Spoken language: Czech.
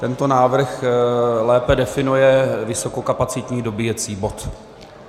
Tento návrh lépe definuje vysokokapacitní dobíjecí bod.